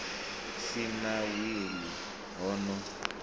si na wili ho no